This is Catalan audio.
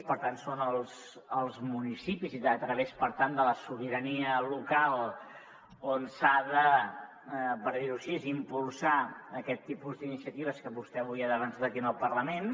per tant és als municipis a través per tant de la sobirania local on per dir ho així s’ha d’impulsar aquest tipus d’iniciatives que vostè avui ha defensat aquí al parlament